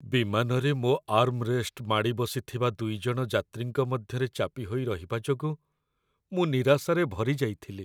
ବିମାନରେ ମୋ ଆର୍ମରେଷ୍ଟ ମାଡ଼ିବସିଥିବା ଦୁଇଜଣ ଯାତ୍ରୀଙ୍କ ମଧ୍ୟରେ ଚାପି ହୋଇ ରହିବା ଯୋଗୁଁ ମୁଁ ନିରାଶାରେ ଭରି ଯାଇଥିଲି।